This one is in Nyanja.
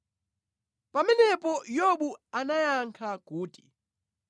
Pamenepo Yobu anayankha kuti,